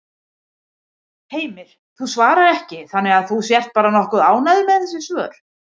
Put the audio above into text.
Heimir: Þú svarar ekki þannig að þú sért bara nokkuð ánægður með þessi svör?